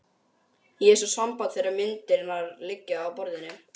Ég hef svo samband þegar myndirnar liggja á borðinu.